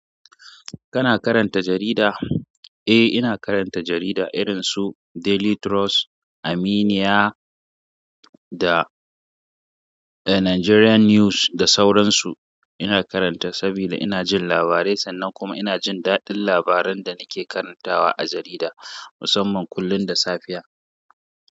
Kana karanta jarida? Eh, ina karanta jarida irin su Daily Trust, Aminiya da Nigerian News da sauransu. Ina karanta saboda ina jin labarai sannan kuma ina jin daɗin labaran da nake karantawa a jarida musamman kullum da safiya.